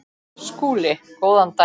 SKÚLI: Góðan daginn!